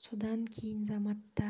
содан кейін заматта